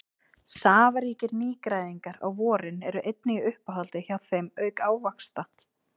Safaríkir nýgræðingar á vorin eru einnig í uppáhaldi hjá þeim auk ávaxta.